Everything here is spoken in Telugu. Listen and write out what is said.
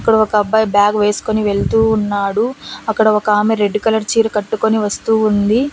ఇక్కడ ఒక అబ్బాయి బ్యాగ్ వేసుకొని వెళ్తూ ఉన్నాడు అక్కడ ఒకామె రెడ్ కలర్ చీర కట్టుకొని వస్తూ ఉంది.